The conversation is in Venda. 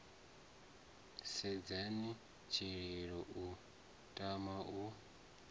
sedzheni tshililo u tama u